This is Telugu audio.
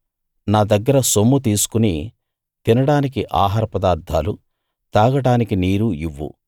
నా దగ్గర సొమ్ము తీసుకుని తినడానికి ఆహార పదార్థాలు తాగడానికి నీరు ఇవ్వు